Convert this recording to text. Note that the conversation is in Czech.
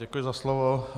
Děkuji za slovo.